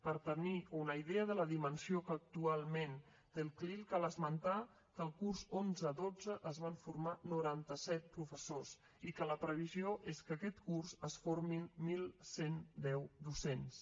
per tenir una idea de la dimensió que actualment té el clil cal esmentar que el curs onze dotze es van formar noranta set professors i que la previsió és que aquest curs es formin onze deu docents